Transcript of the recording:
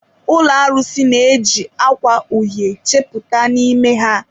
Ụlọ arụsị na-eji akwa uhie chepụta n'ime ha.